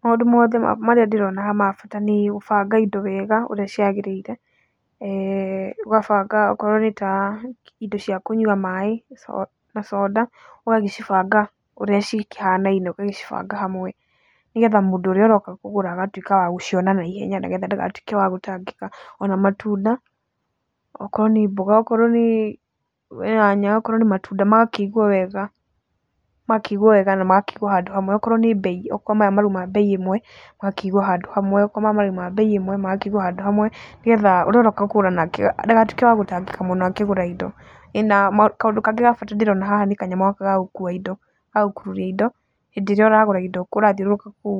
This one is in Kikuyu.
Maũndũ mothe marĩa ndĩrona haha ma bata nĩ kũbanga indo wega ũrĩa ciagĩrĩire, eeh ũgabanga okorwo nĩ ta indo cia kũnyua maĩ, ta soda, ũgagĩcibanga ũrĩa cikĩhanaine, ũgagĩcibanga hamwe, nĩgetha mũndũ ũrĩa ũroka kũgũra agatũĩka wa gũciona naihenya, nĩgetha ndagatũĩke wa gũtangĩka. Ona matunda, okorwo nĩ mboga, okorwo nĩ nyanya, okorwo nĩ matunda, magakĩigwo wega, magakĩigwo wega na magakĩigwo handũ hamwe. Okorwo nĩ mbei, okorwo maya marauma mbei ĩmwe, magakĩigwo handũ hamwe, okorwo maya marauma mbei ĩmwe, magakĩigwo handũ hamwe, nĩgetha ũrĩa ũroka kũgũra nake ndagatuĩke wa gũtangĩka mũno akĩgũra indo. ĩĩ na kaũndũ kangĩ ga bata ndĩrona haha nĩ kanyamũ gaka ga gũkua indo, ga gũkururia indo hĩndĩ ĩrĩa ũragũra indo, ũrathiũrũrũka kũu